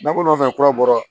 Bako nɔfɛ kura bɔra